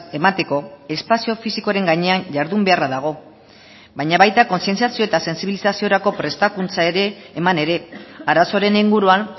emateko espazio fisikoaren gainean jardun beharra dago baina baita kontzientziazio eta sentsibilizaziorako prestakuntza ere eman ere arazoaren inguruan